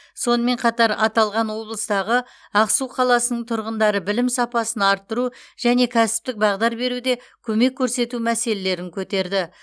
сонымен қатар аталған облыстағы ақсу қаласының тұрғындары білім сапасын арттыру және кәсіптік бағдар беруде көмек көрсету мәселелерін көтерді